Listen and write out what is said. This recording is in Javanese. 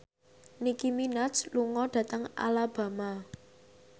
Nicky Minaj lunga dhateng Alabama